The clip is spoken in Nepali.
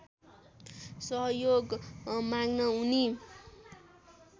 सहयोग माग्न उनी